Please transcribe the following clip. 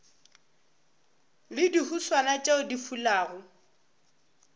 le dihuswane tšeo di fulago